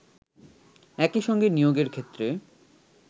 একই সঙ্গে নিয়োগের ক্ষেত্রে